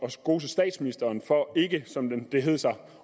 at skose statsministeren for ikke som det hed sig